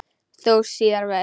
Þó síðar væri.